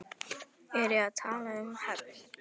Er ég að tala um hefnd?